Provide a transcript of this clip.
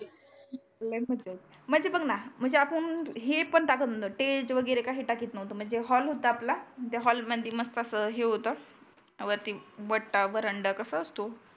लय मज्जा. म्हणजे बघ बा म्हणजे आपण हे पण टाकत नव्हतो स्टेज वगैरे काही टाकत नव्हतो. म्हणजे हॉल होता आपला त्या हॉल मध्ये मस्त असं हे होतं वरती वट्टा वर्हांडा कसा असतो?